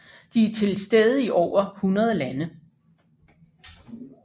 De er tilstede i over 100 lande